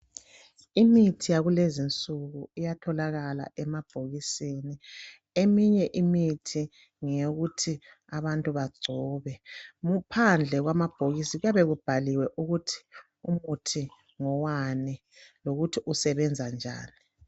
Imithi yakulezinsuku iyatholakala emabhokisini, eminye imithi ngeyokuthi abantu bagcobe phandle kwamabhokisi kuyabe kubhaliwe ukuthi umuthi ngowani lokuthi usebenza njani.